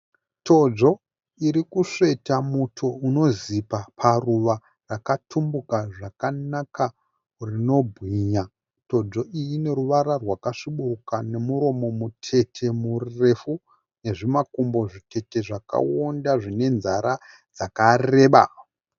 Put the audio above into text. Todzvo irikusveta muto unozipa paruva rakatumbuka zvakanaka rinobwinya. Todzvo iyi ineruvara rwakasvibiruka nomuromo mutete murefu nezvimakumbo zvitete zvakawonda zvine nzara dzakareba.